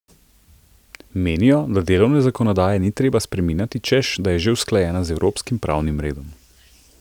Menijo, da delovne zakonodaje ni treba spreminjati, češ da je že usklajena z evropskim pravnim redom.